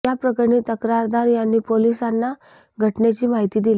या प्रकरणी तक्रारदार यांनी पोलिसांना घटनेची माहिती दिली